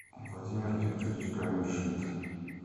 владимир викторович гаммершмидт